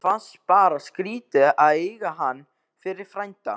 Mér fannst bara skrítið að eiga hann fyrir frænda.